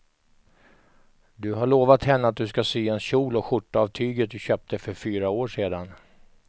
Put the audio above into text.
Du har lovat henne att du ska sy en kjol och skjorta av tyget du köpte för fyra år sedan.